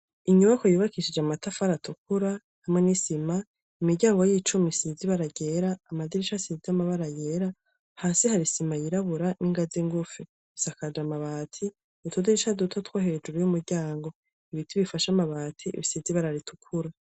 Inyubako yubakishije amatafari atukura hamwe n'isima, imiryango y'icuma isize ibara ryera, amadirisha asize amabara yera, hasi hari isima yirabura n'ingazi ngufi. Isakaje amabati, utudirisha duto two hejuru y'umuryango. Ibiti bifashe amabati bisize ibara ritukura.